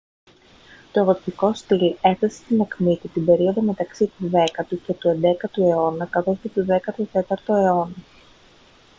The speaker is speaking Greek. το γοτθικό στιλ έφτασε στην ακμή του την περίοδο μεταξύ του 10ου και του 11ου αιώνα καθώς και τον 14ο αιώνα